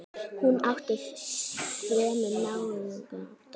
Hún átti fremur náðugan dag.